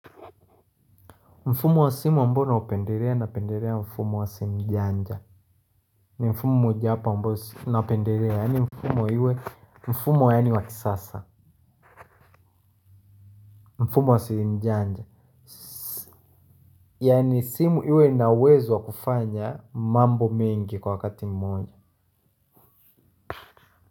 Mfumo wa simu ambao naupendelea napendelea mfumo wa simu njanja. Ni mfumo mojapa ambo napendelea yani mfumo yani wakisasa. Mfumo wa simu njanja. Yani simu iwena uwezo wa kufanya mambo mingi kwa wakati mmoja.